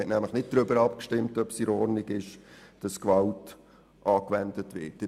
Man hat nämlich nicht darüber abgestimmt, ob es in Ordnung ist, dass Gewalt angewendet wird.